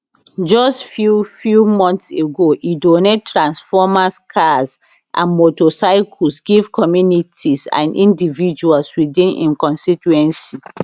just few few months ago e donate transformers cars and motorcycles give communities and individuals within im constituency